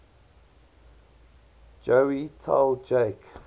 joey tell jake